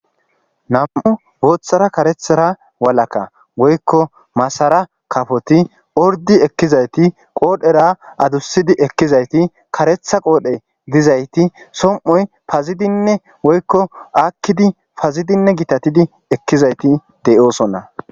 nam7u gooththara karethara walaka woykko masara kafoti ordi ekkizayti qoodhera adussidi ekkizayti karetha qoodhe dizayti som7oy pazidinne woykko akkidi pazidinne gitatidi ekkizayti deyoosonna